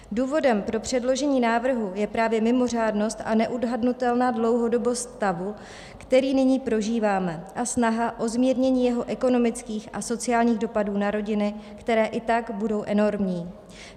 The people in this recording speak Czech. Důvodem pro předložení návrhu je právě mimořádnost a neodhadnutelná dlouhodobost stavu, který nyní prožíváme, a snaha o zmínění jeho ekonomických a sociálních dopadů na rodiny, které i tak budou enormní.